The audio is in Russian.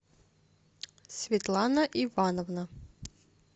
светлана ивановна